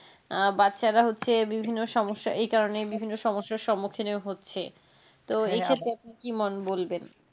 আহ বাচ্চারা হচ্ছে বিভিন্ন সমস্যা এই কারণে বিভিন্ন সমস্যার সম্মুখীন হচ্ছে তো এই সব দেখে কি মন বলবে